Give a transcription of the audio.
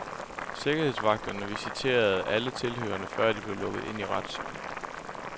Sikkerhedsvagterne visiterede alle tilhørere før de blev lukket ind i retssalen.